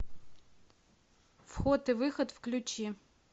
вход и выход включи